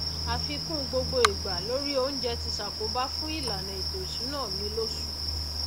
àfikún gbogbo igbà lórí oúnjẹ ti sàkóbá fún ìlànà ètò ìsúná mi lósù